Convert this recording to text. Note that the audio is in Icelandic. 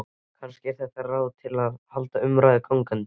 Kannski er þetta ráð til að halda umræðunni gangandi.